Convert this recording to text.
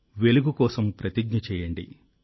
వెలుగు కోసం ప్రతిజ్ఞ చేయండి